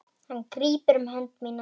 Hann grípur um hönd mína.